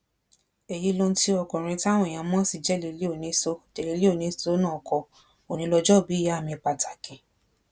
èyí lohun tí ọkùnrin táwọn èèyàn mọ̀ sí jélílì onísọ jélílì onísọ náà kọ òní lójoòbí ìyá mi pàtàkì